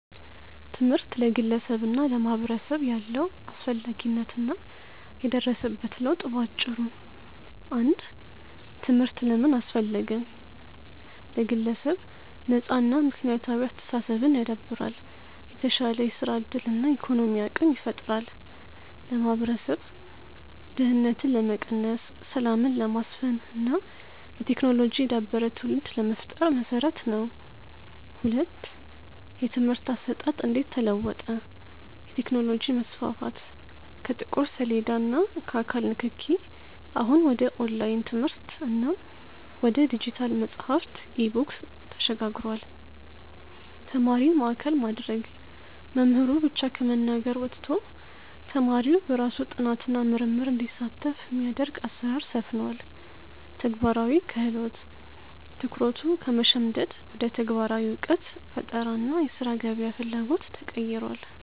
ትምህርት ለግለሰብና ለማህበረሰብ ያለው አስፈላጊነት እና የደረሰበት ለውጥ በአጭሩ፦ 1. ትምህርት ለምን አስፈለገ? ለግለሰብ፦ ነፃና ምክንያታዊ አስተሳሰብን ያዳብራል፤ የተሻለ የሥራ ዕድልና የኢኮኖሚ አቅም ይፈጥራል። ለማህበረሰብ፦ ድህነትን ለመቀነስ፣ ሰላምን ለማስፈን እና በቴክኖሎጂ የዳበረ ትውልድ ለመፍጠር መሰረት ነው። 2. የትምህርት አሰጣጥ እንዴት ተለወጠ? የቴክኖሎጂ መስፋፋት፦ ከጥቁር ሰሌዳ እና ከአካል ንክኪ፣ አሁን ወደ ኦንላይን ትምህርት እና ወደ ዲጂታል መጽሐፍት (E-books) ተሸጋግሯል። ተማሪን ማዕከል ማድረግ፦ መምህሩ ብቻ ከመናገር ወጥቶ፣ ተማሪው በራሱ ጥናትና ምርምር እንዲሳተፍ የሚያደርግ አሰራር ሰፍኗል። ተግባራዊ ክህሎት፦ ትኩረቱ ከመሸምደድ ወደ ተግባራዊ እውቀት፣ ፈጠራ እና የሥራ ገበያ ፍላጎት ተቀይሯል።